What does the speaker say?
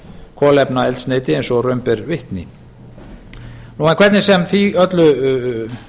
kolefnaeldsneyti eins og raun ber vitni en hvernig sem því öllu